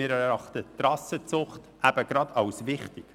Wir erachten die Rassenzucht als wichtig.